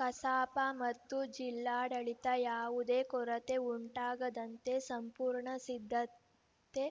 ಕಸಾಪ ಮತ್ತು ಜಿಲ್ಲಾಡಳಿತ ಯಾವುದೇ ಕೊರತೆ ಉಂಟಾಗದಂತೆ ಸಂಪೂರ್ಣ ಸಿದ್ಧತೆ